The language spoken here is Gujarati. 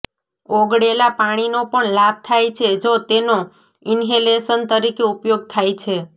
ઓગળેલા પાણીનો પણ લાભ થાય છે જો તેનો ઇન્હેલેશન તરીકે ઉપયોગ થાય છે